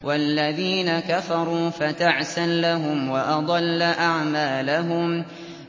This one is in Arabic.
وَالَّذِينَ كَفَرُوا فَتَعْسًا لَّهُمْ وَأَضَلَّ أَعْمَالَهُمْ